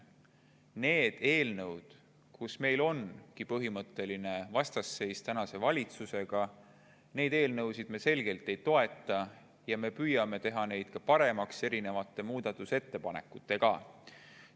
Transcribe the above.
Neid eelnõusid, kus meil on põhimõtteline vastasseis tänase valitsusega, me selgelt ei toeta ja me püüame teha neid ka erinevate muudatusettepanekutega paremaks.